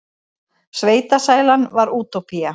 Sveitasælan var útópía.